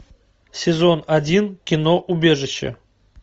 сезон один кино убежище